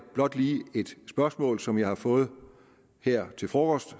blot lige et spørgsmål som jeg har fået her til frokost